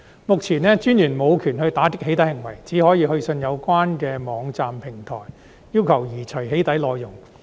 目前，私隱專員無權打擊"起底"行為，只可以去信有關的網站平台，要求移除"起底"內容。